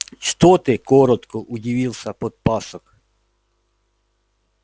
что ты коротко удивился подпасок